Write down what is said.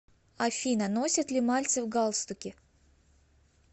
афина носит ли мальцев галстуки